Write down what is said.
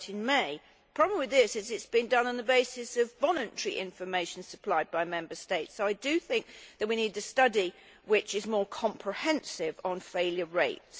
The problem with this is that it has been done on the basis of voluntary information supplied by Member States, so I think that we need a study which is more comprehensive on failure rates.